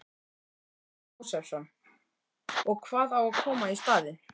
Þórhallur Jósefsson: Og hvað á að koma í staðinn?